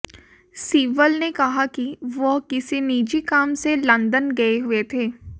सिब्बल ने कहा कि वह किसी निजी काम से लंदन गए हुए थे